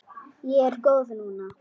Ég er góð núna.